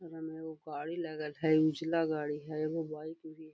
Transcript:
एकरा में एगो गाड़ी लगल हई उजला गाड़ी हई एगो बाइक भी --